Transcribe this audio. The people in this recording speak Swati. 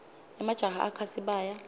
emajaha akha sibaya